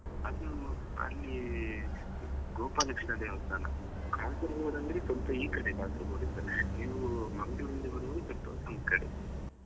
ಅದು ಅಲ್ಲಿ ಗೋಪಾಲಕೃಷ್ಣ ದೇವಾಸ್ಥಾನ Kasaragod ಅಂದ್ರೆ ಸ್ವಲ್ಪ ಈ ಕಡೆ Kasaragod ಇಂದ ನೀವು .